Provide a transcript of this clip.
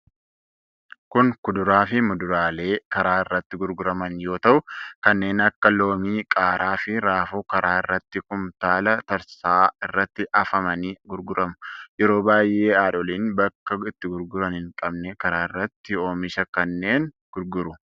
Kun kuduraa fi muduraalee karaa irratti gurguraman yoo ta'u, kanneen akka loomii, qaaraa, fi raafuu karaa irratti kumtaala tarsa'aa irratti afamanii gurguramu. yeroo baay'ee haadholiin bakka itti gurguran hin qabne karaa irratti oomisha kanneen gurguru.